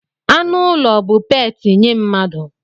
Anụ ụlọ bụ peeti nye mmadụ.